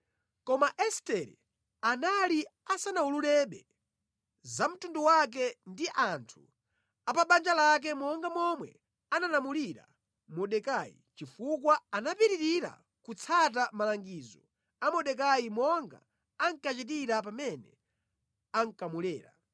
Koma Estere anali asanawululebe za mtundu wake ndi anthu a pa banja lake monga momwe analamulira Mordekai, chifukwa anapitirira kutsata malangizo a Mordekai monga ankachitira pamene ankamulera.